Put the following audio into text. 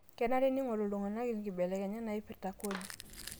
Kenare neing'oru iltung'ana nkibelekenyat naipirta kodi